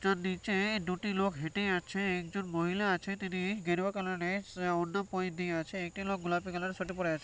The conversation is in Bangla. একজন নিচে দুটি লোক হেঁটে যাচ্ছে একজন মহিলা আছে তিনি গেরুয়া কালার -এর অনন্যা পৈদি দিয়ে আছে একটি লোক গোলাপি কালার এর সোয়েটার পরে আছে ।